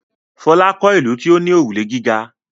Fọlá kọ́ ìlú tí ó ní òrùlé gíga.